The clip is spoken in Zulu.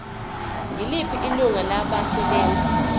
yiliphi ilungu labasebenzi